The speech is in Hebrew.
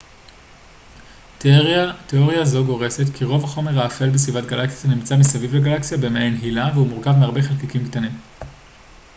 תיאוריה זו גורסת כי רוב החומר האפל בסביבת גלקסיה נמצא מסביב לגלקסיה במעין הילה והוא מורכב מהרבה חלקיקים קטנים